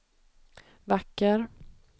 vacker